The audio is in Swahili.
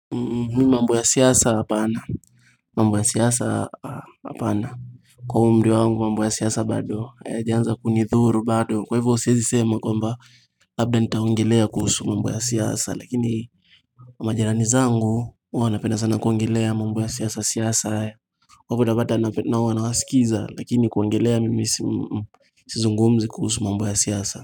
Mi mambo ya siyasa apana, mambo ya siyasa apana, kwa umri wangu mambo ya siyasa bado, hayajaanza kunidhuru bado, kwa hivyo sizisema kwamba, labda nitaongelea kuhusu mambo ya siyasa, lakini kwa majirani zangu, wanapenda sana kuongelea mambo ya siyasa siyasa, waputabata na wana wasikiza, lakini kuongelea mimi sizungumzi kuhusu mambo ya siyasa.